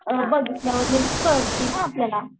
ह बघ आपल्याला